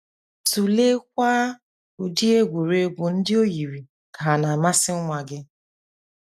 Tụleekwa ụdị egwuregwu ndị o yiri ka hà na - amasị nwa gị.